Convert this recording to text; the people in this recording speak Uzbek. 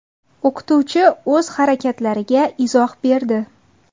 O‘qituvchi o‘z harakatlariga izoh berdi .